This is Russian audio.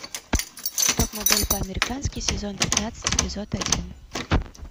топ модель по американски сезон пятнадцать эпизод один